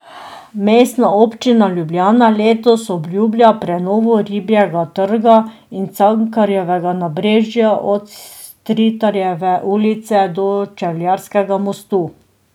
Mestna občina Ljubljana letos obljublja prenovo Ribjega trga in Cankarjevega nabrežja od Stritarjeve ulice do Čevljarskega mostu.